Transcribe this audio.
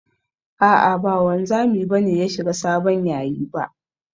A'a ba wanzami ba ne ya shiga sabon yayi ba.